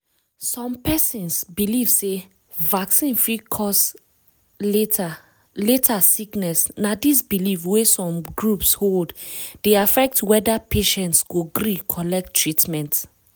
some persons believe sey vaccine fit cause later later sickness na this belief wey some groups hold dey affect whether patients go gree collect treatment.